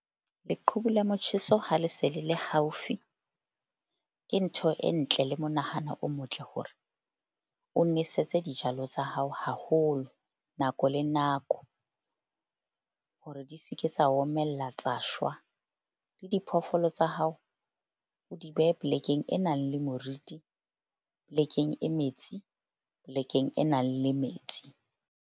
Leqhubu la motjheso ha le se le le haufi, ke ntho e ntle le monahano o motle hore o nwesetse dijalo tsa hao haholo nako le nako. Hore di se ke tsa omella, tsa shwa le diphoofolo tsa hao, o di behe plek-eng e nang le moriti polekeng e metsi, polekeng e nang le metsi.